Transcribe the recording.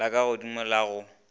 la ka godmo la go